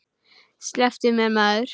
Slepptu mér maður.